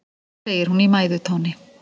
segir hún í mæðutóni.